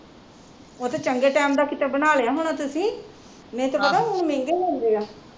ਉਹ ਤੇ ਚੰਗੇ ਟੈਮ ਦਾ ਬਣਾ ਲਿਆ ਹੁਣਾ ਕਿਤੇ ਤੁਸੀਂ ਨਹੀਂ ਤੇ ਪਤਾ ਹੁਣ ਮਹਿੰਗੇ ਬਣਦੇ ਆ